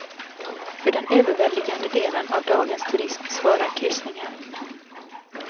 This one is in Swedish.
För den överväldigande delen av dagens turism svarar kryssningarna.